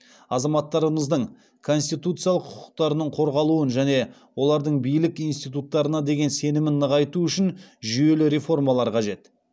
азаматтарымыздың конституциялық құқықтарының қорғалуын және олардың билік институттарына деген сенімін нығайту үшін жүйелі реформалар қажет